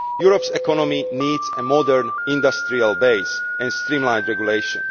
Europe's economy needs a modern industrial base and streamlined regulation.